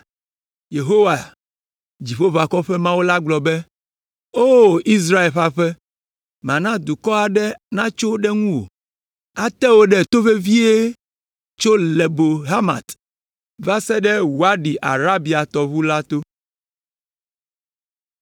Yehowa, Dziƒoʋakɔwo ƒe Mawu la gblɔ be, “O Israel ƒe aƒe, mana dukɔ aɖe natso ɖe ŋuwò. Ate wò ɖe to vevie tso Lebo Hamat va se ɖe Wadi Araba tɔʋu la to.”